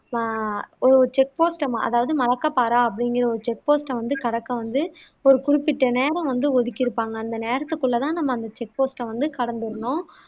வா ஒரு செக்போஸ்ட் அதாவது மலக்கப்பாறா அப்படிகுற செக்போஸ்ட்ட வந்து கடக்க வந்து ஒரு குறிப்பிட்ட நேரம் வந்து ஒதிக்கி இருப்பாங்க அந்த நேரத்துக்குள்ள தான் நம்ம அந்த செக்பொஸ்ட்ட வந்து கடந்துடணும்